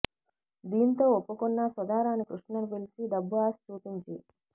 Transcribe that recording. దీంతో ఒప్పుకున్నా సుధారాణి కృష్ణ ను పిలిచి డబ్బు ఆశ చూపించి